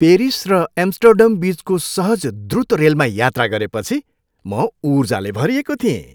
Paris र Amsterdam बिचको सहज, द्रुत रेलमा यात्रा गरेपछि म ऊर्जाले भरिएको थिएँ।